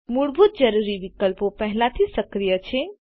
મૂળભૂત જરૂરી વિકલ્પો પહેલાથી સક્રિય છે